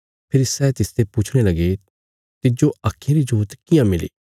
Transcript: फेरी सै तिसते पुछणे लगे तिज्जो आक्खीं री जोत कियां मिली